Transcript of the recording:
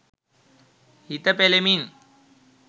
හිත පෙළෙමින්